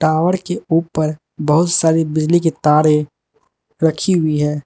Tower के ऊपर बहुत सारी बिजली के तारे रखी हुई है।